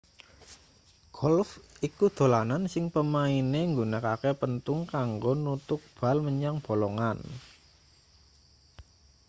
golf iku dolanan sing pemaine nggunakake penthung kanggo nuthuk bal menyang bolongan